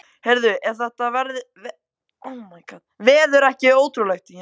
Heyrðu, er þetta veður ekki ótrúlegt?